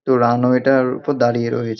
তো রানওয়ে -টার ওপর দাড়িয়ে রয়ে--